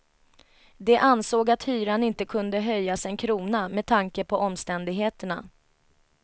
De ansåg att hyran inte kunde höjas en krona med tanke på omständigheterna.